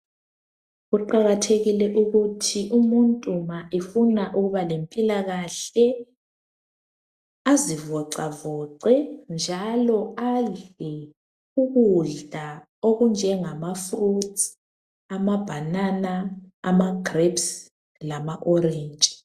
Kuqakathekile ukuthi umuntu ma efuna ukuba lempilakahle, azivoxavoxe, njalo adle ukudla okunjengamafruits, amabanana, amagrapes lama orentshi.